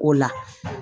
O la